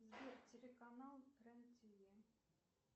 сбер телеканал рен тв